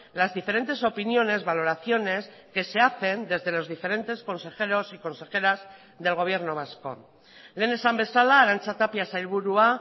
las diferentes opiniones valoraciones que se hacen desde los diferentes consejeros y consejeras del gobierno vasco lehen esan bezala arantza tapia sailburua